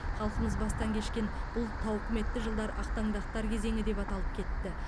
халқымыз бастан кешкен бұл тауқыметті жылдар ақтаңдақтар кезеңі деп аталып кетті